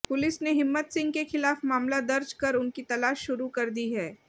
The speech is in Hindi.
पुलिस ने हिम्मत सिंह के खिलाफ मामला दर्ज कर उनकी तलाश शुरू कर दी है